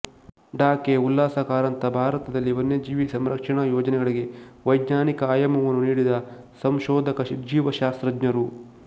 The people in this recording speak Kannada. ಡಾ ಕೆ ಉಲ್ಲಾಸ ಕಾರಂತ ಭಾರತದಲ್ಲಿ ವನ್ಯಜೀವಿ ಸಂರಕ್ಷಣಾ ಯೋಜನೆಗಳಿಗೆ ವೈಜ್ಞಾನಿಕ ಆಯಾಮವನ್ನು ನೀಡಿದ ಸಂಶೋಧಕ ಜೀವಶಾಸ್ತ್ರಜ್ಞರು